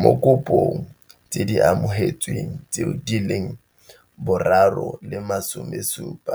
Mo dikopong tse di amogetsweng tseo, di leng 739 526